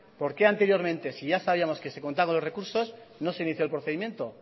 anteriormente si ya sabíamos que se contaba con los recursos por qué no se inició el procedimiento